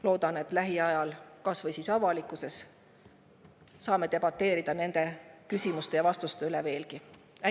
Loodan, et lähiajal saame kas või avalikkuses nende küsimuste ja vastuste üle veel debateerida.